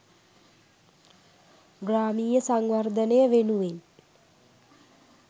ග්‍රාමීය සංවර්ධනය වෙනුවෙන්